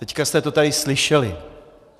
Teď jste to tady slyšeli.